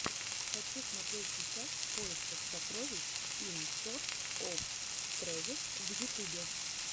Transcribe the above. хочу смотреть сейчас в поисках сокровищ ин сорч оф трэжэс в ютюбе